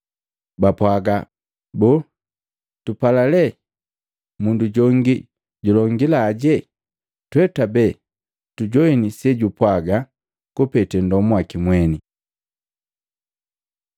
Bapwaaga, “Boo, tupala lee mundu jongi julongilaje? Twee twabee tujoini sejupwaga kupete ndomu waki mwene.”